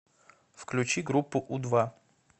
включи группу у два